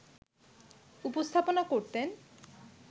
উপস্থাপনা করতেন